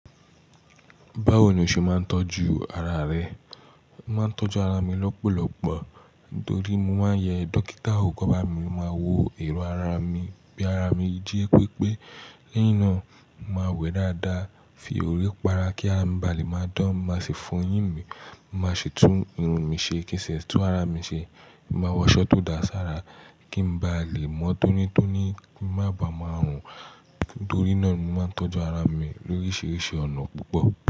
Báwo ni o ṣe máa ń tọ́jú ara rẹ? Mo máa ń tọ́jú ara mi lọ́pọ̀lọpọ̀ torí mo máa ń yẹ dókítà wò kán bá mi, máa wo èrò ara mi bí ara mi jí pé pé lẹ́yìn náà mo máa wẹ̀ dáadáa, fi òrí para kí a bà lè máa dán, mo máa sì fọyín mi, mo máa sì tún irun mi ṣe kí sì tún ara mi ṣe, mo máa wọ aṣọ tó da sí ara kí ń bá lè mọ́ tónítóní kí n má ba à máa rùn. Torí náà ni mo máa ń tọ́jú ara mi lóríṣiríṣi ọ̀nà púpọ̀.